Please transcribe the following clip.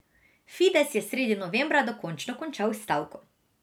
Fides je sredi novembra dokončno končal stavko.